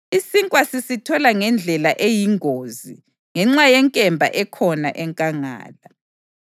Isinkwa sisithola ngendlela eyingozi ngenxa yenkemba ekhona enkangala.